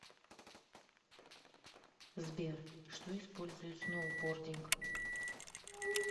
сбер что использует сноубординг